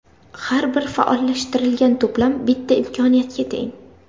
Har bir faollashtirilgan to‘plam bitta imkoniyatga teng.